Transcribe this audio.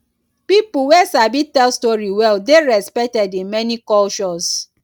pipo wey sabi tell story well dey respected in many cultures